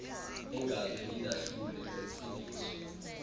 engaze indahlule nentsindiso